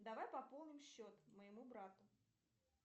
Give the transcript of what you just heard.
давай пополним счет моему брату